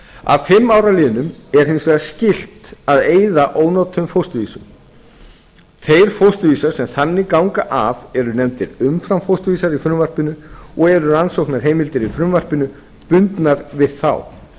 að fimm árum liðnum er hins vegar skylt að eyða ónotuðum fósturvísum þeir fósturvísar sem þannig ganga af eru nefndir umframfósturvísar í frumvarpinu og eru rannsóknarheimildir í frumvarpinu bundnar við þá